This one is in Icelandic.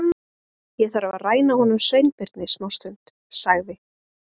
Ég þarf að ræna honum Sveinbirni smástund- sagði